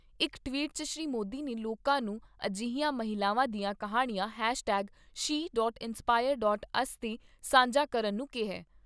ਇਕ ਟਵੀਟ 'ਚ ਸ੍ਰੀ ਮੋਦੀ ਨੇ ਲੋਕਾਂ ਨੂੰ ਅਜਿਹੀਆਂ ਮਹਿਲਾਵਾਂ ਦੀਆਂ ਕਿਹਾਣੀਆਂ hashtag C dot inspire dot us 'ਤੇ ਸਾਂਝਾ ਕਰਨ ਨੂੰ ਕਿਹਾ ।